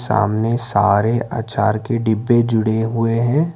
सामने सारे अचार के डिब्बे जुड़े हुए हैं।